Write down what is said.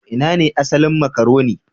Ina ne asalin makaroni?